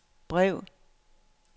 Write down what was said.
brev